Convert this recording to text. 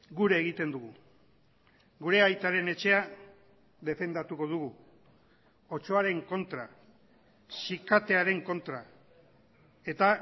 gure egiten dugu gure aitaren etxea defendatuko dugu otsoaren kontra sikatearen kontra eta